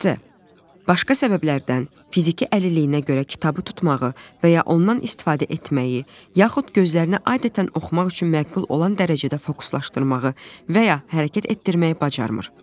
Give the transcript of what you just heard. C. Başqa səbəblərdən fiziki əlilliyinə görə kitabı tutmağı və ya ondan istifadə etməyi, yaxud gözlərinə adətən oxumaq üçün məqbul olan dərəcədə fokuslaşdırmağı və ya hərəkət etdirməyi bacarmır.